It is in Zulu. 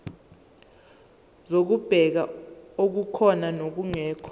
zokubheka okukhona nokungekho